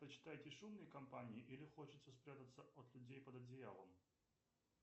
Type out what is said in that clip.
предпочитаете шумные компании или хочется спрятаться от людей под одеялом